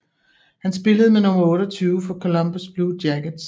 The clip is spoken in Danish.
Han spillede med nummer 28 for Columbus Blue Jackets